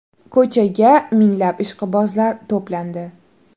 Ko‘chaga minglab ishqibozlar to‘plandi.